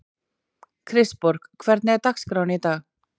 Kristborg, hvernig er dagskráin í dag?